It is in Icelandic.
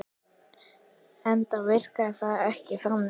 Enda virkaði þetta ekki þannig.